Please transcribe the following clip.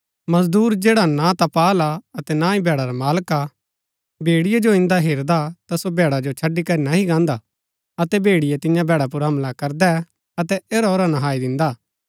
मजदूर जैडा ना ता पाअल हा अतै ना ही भैडा रा मालक भेड़िये जो इन्दा हेरदा ता सो भैडा जो छड़ी करी नह्ई गान्दा अतै भेड़िये तियां भैडा पुर हमला करदै अतै ऐरा ओरा नहाई दिन्दा